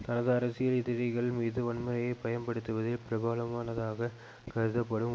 தனது அரசியல் எதிரிகள் மீது வன்முறையை பயன்படுத்துவதில் பிரபனமானதாகக் கருதப்படும்